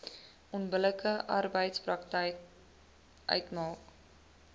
onbillike arbeidspraktyk uitmaak